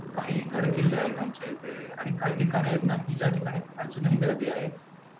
कांही गड किल्ले आहेत, आमच्या इथे आणि कांही ठिकाणे आहेत ना ज्या ठिकाण आहे अजूनही गर्दी आहे.